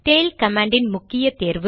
tail command இன் முக்கிய தேர்வு